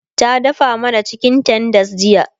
ta dafa mana chicken tenders jiya